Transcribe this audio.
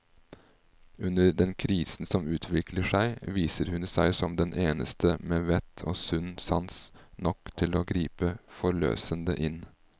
Under den krisen som utvikler seg, viser hun seg som den eneste med vett og sunn sans nok til å gripe forløsende inn.